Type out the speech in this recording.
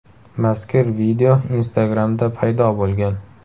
Mazkur video Instagram’da paydo bo‘lgan .